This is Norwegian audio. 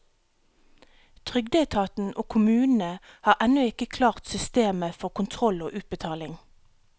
Trygdeetaten og kommunene har ennå ikke klart systemet for kontroll og utbetaling.